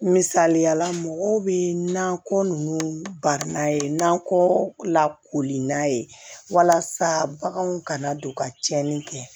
Misaliyala mɔgɔw bɛ na ko nunnu bari n'a ye nakɔ la koli n'a ye walasa baganw kana don ka tiɲɛni kɛ